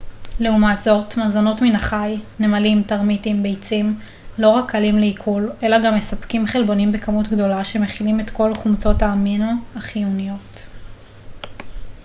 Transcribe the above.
לעומת זאת מזונות מן החי נמלים טרמיטים ביצים לא רק קלים לעיכול אלא גם מספקים חלבונים בכמות גדולה שמכילים את כל חומצות האמינו החיוניות